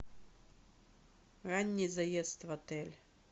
ранний заезд в отель